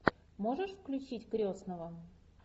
можешь включить крестного